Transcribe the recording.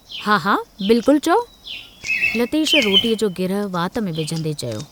हा, हा बिल्कुल चओ" लतेश रोटीअ जो गिरहु वात में विझंदे चयो।